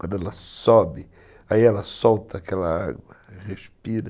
Quando ela sobe, aí ela solta aquela água, respira.